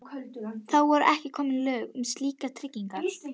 Þá voru ekki komin lög um slíkar tryggingar.